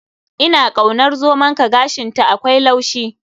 Ina kaunar zomonka, gashinta akwai laushi.